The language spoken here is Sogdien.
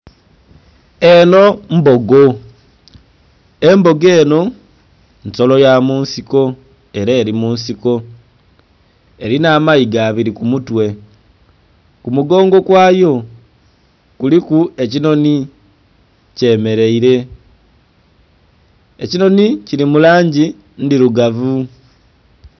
Eno mbogo, embogo eno nsolo ya munsiko era eri munsiko Elina amaiga abiri kumutwe ku mugongo kwayo kuliku ekinhoni kyemereire, ekinhoni kili mu langi ndhirugavu